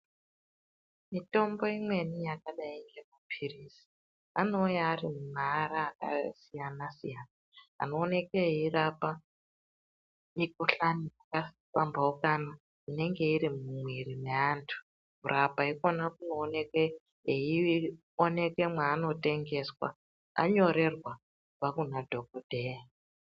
Mitombo imweni yakadai ngemapirizi anouya ari mumaara akasiyana siyana anooneke eirapa mikuhlani yakapambaukana inenge iri mumwiri mweantu kurapwa ikona kunooneke eioneke mwaanotengeswa anyorerwa kubva kuna dhokodheya.